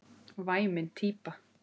Væmin típa.